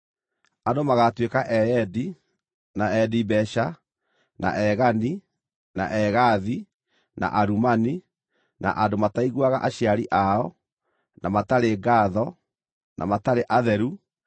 Andũ magaatuĩka eyendi, na endi mbeeca, na egani, na egaathi, na arumani, na andũ mataiguaga aciari ao, na matarĩ ngaatho, na matarĩ atheru.